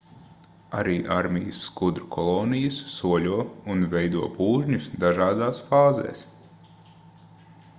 arī armijas skudru kolonijas soļo un veido pūžņus dažādās fāzēs